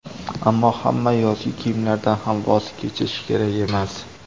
Ammo hamma yozgi kiyimlardan ham voz kechish kerak emas.